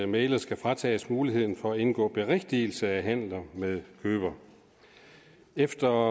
mægler skal fratages muligheden for at indgå berigtigelse af handler med køber efter